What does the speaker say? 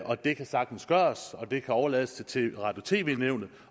og det kan sagtens gøres og det kan overlades til radio og tv nævnet